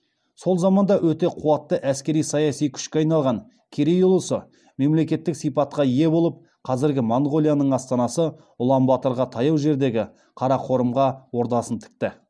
сол заманда өте қуатты әскери саяси күшке айналған керей ұлысы мемлекеттік сипатқа ие болып қазіргі монғолияның астанасы улан баторға таяу жердегі қарақорымға ордасын тікті